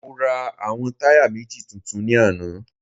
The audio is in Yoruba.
Mo ra àwọn táyà méjì tuntun ní àná